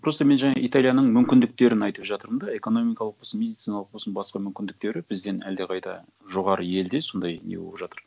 просто мен жаңа италияның мүмкіндіктерін айтып жатырмын да экономикалық болсын медициналық болсын басқа мүмкіндіктері бізден әлдеқайда жоғары елде сондай не болып жатыр